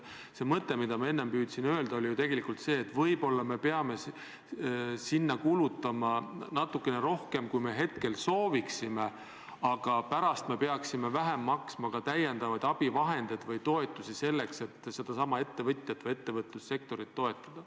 See mõte, mida ma enne püüdsin edasi anda, oli tegelikult see, et võib-olla me peame selleks praegu kulutama natukene rohkem, kui me sooviksime, aga pärast peaksime vähem maksma täiendavate abivahendite eest või vähem toetusi, et seda ettevõtlussektorit aidata.